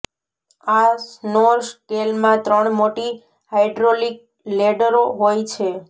આ સ્નોર સ્કેલમાં ત્રણ મોટી હાઈડ્રોલિક લેડેરો હોય છે